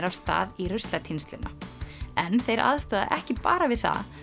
af stað í ruslatínsluna en þeir aðstoða ekki bara við það